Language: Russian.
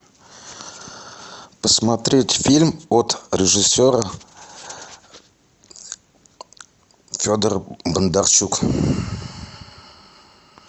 посмотреть фильм от режиссера федор бондарчук